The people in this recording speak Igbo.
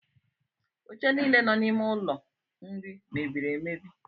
Oche niile nọ n’ime ụlọ nri mebiri emebi